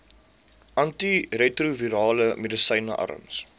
antiretrovirale medisyne arms